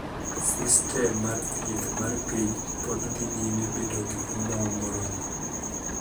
Sistem mar thieth mar piny pod dhi nyime bedo gi omwom moromo.